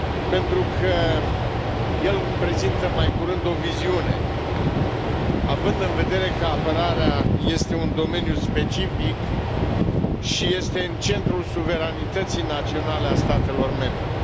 pentru că el prezintă mai curând o viziune, având în vedere că apărarea este un domeniu specific și este în centrul suveranității naționale a statelor membre.